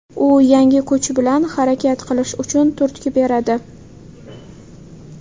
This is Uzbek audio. U yangi kuch bilan harakat qilish uchun turtki beradi.